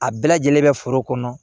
A bɛɛ lajɛlen bɛ foro kɔnɔ